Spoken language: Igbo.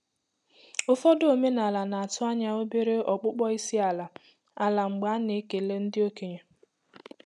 Ụfọdụ omenala na-atụ ányá obere ọkpụkpọ isi àlà àlà mgbé ana ekele ndị okenye.